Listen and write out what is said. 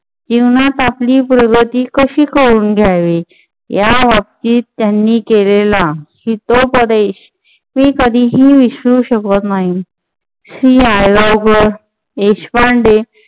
जीवनात आपली प्रगती कशी करून घ्यावी. याबाबतीत त्यांनी केलेला शिखोपदेश मी कधीही विसरू शकत नाही श्री देशपांडे